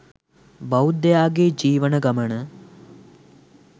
බෞද්ධයාගේ ජීවන ගමන